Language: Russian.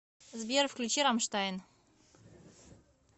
сбер включи рамштайн